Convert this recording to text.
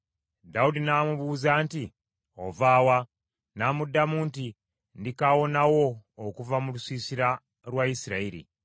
Dawudi n’amubuuza nti, “Ova wa?” N’amuddamu nti, “Ndi kaawonawo okuva mu lusiisira lwa Isirayiri.”